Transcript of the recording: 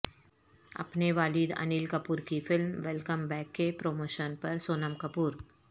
اپنے والد انل کپور کی فلم ویلکم بیک کے پروموشن پر سونم کپور